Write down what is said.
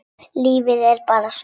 Lífið er bara svona.